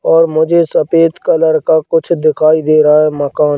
और मुझे सफेद कलर का कुछ दिखाई दे रहा है मकान।